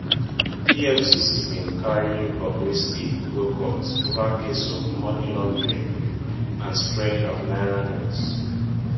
efcc bin carry bobrisky go court ova case of money laundering and spraying of naira notes